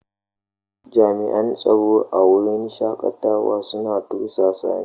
Jami'an tsaro a wurin shakatawa suna kokarin tursasa ni.